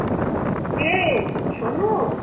কে, Sonu?